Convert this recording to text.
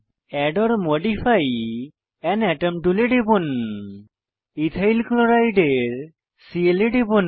add or modify an atom টুলে টিপুন ethyl chloride ethyl chloride এর সিএল এ টিপুন